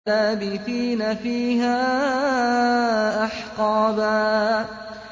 لَّابِثِينَ فِيهَا أَحْقَابًا